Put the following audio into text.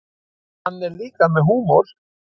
Hann er líka með húmor.